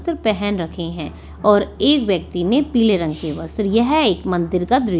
त्र पेहेन रखे हैं और एक व्यक्ति ने पीले रंग के वस्त्र यह एक मंदिर का दृ --